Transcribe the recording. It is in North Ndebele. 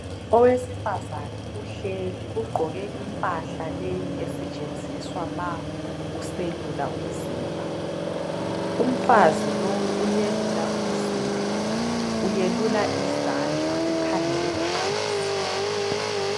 Owesifazane uhleli ugqoke impahla leyi esetshenziswa ma uselula umzimba. Umfazi lowu uyelula umzimba, uyelula izandla ukhangele phansi.